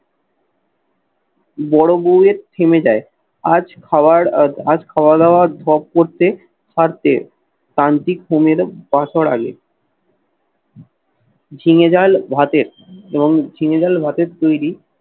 বোরো বউ এর থেমে যায় আজ খাওয়ার আজ খাওয়া দাওয়ার ঢপ করতে পারতে। ক্রান্তি ঘুমের বাসর আগে ঝিঙে ডাল ভাতের এবং ঝিঙে ডাল ভাতের তৈরি